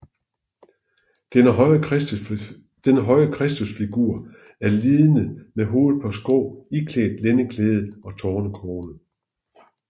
Den høje Kristusfigur er lidende med hovedet på skrå iklædt lændeklæde og tornekrone